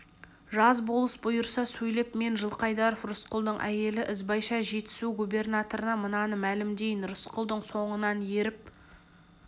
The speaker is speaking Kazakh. жаз болыс бұйыра сөйлеп мен жылқайдаров рысқұлдың әйелі ізбайша жетісу губернаторына мынаны мәлімдеймін рысқұлдың соңынан еріп